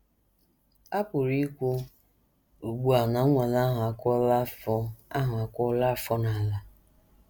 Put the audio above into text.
A pụrụ ikwu ugbu a na nnwale ahụ akụọla afọ ahụ akụọla afọ n’ala. ”